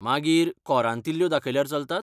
मागीर, कोरांतिल्ल्यो दाखयल्यार चलतात?